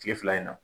Kile fila in na